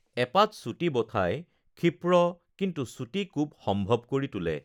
এপাত চুটি ব'ঠাই ক্ষিপ্ৰ কিন্তু চুটি কোব সম্ভৱ কৰি তোলে৷